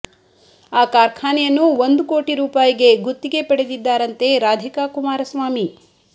ಆ ಕಾರ್ಖಾನೆಯನ್ನು ಒಂದು ಕೋಟಿ ರೂಪಾಯಿಗೆ ಗುತ್ತಿಗೆ ಪಡೆದಿದ್ದಾರಂತೆ ರಾಧಿಕಾ ಕುಮಾರಸ್ವಾಮಿ